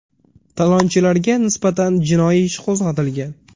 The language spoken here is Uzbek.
Talonchilarga nisbatan jinoiy ish qo‘zg‘atilgan.